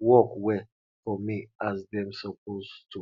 work well for me as dem suppose to